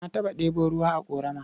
Na taɓa ɗebo ruwa a ƙorama.